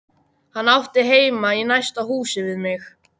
Hann átti heima í næsta húsi við mig.